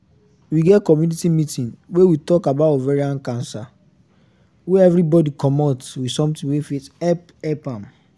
we get community meeting wey we talk about ovarian cancer wey everybody commot with something wey fit help help am